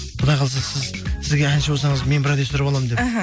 құдай қаласа сіз әнші болсаңыз мен продюсер боламын деп іхі